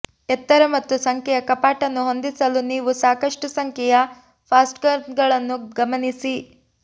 ಎತ್ತರ ಮತ್ತು ಸಂಖ್ಯೆಯ ಕಪಾಟನ್ನು ಹೊಂದಿಸಲು ನೀವು ಸಾಕಷ್ಟು ಸಂಖ್ಯೆಯ ಫಾಸ್ಟೆನರ್ಗಳನ್ನು ಗಮನಿಸಿ